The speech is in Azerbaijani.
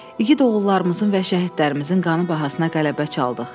İgid oğullarımızın və şəhidlərimizin qanı bahasına qələbə çaldıq.